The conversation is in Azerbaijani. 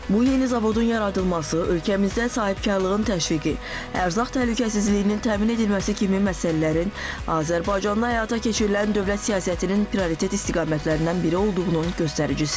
Bu yeni zavodun yaradılması ölkəmizdə sahibkarlığın təşviqi, ərzaq təhlükəsizliyinin təmin edilməsi kimi məsələlərin Azərbaycanda həyata keçirilən dövlət siyasətinin prioritet istiqamətlərindən biri olduğunun göstəricisidir.